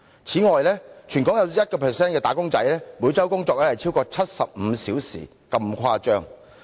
此外，全港有 1% 的"打工仔"每周工作更超過75小時，情況相當誇張。